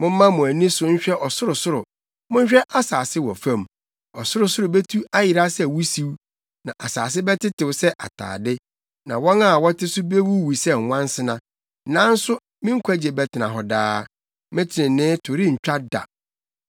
Momma mo ani so nhwɛ ɔsorosoro, monhwɛ asase wɔ fam; ɔsorosoro betu ayera sɛ wusiw na asase bɛtetew sɛ atade na wɔn a wɔte so bewuwu sɛ nwansena. Nanso me nkwagye bɛtena hɔ daa, me trenee to rentwa da.